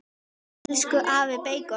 Elsku afi beikon.